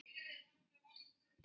Opnar stöðuna upp á gátt.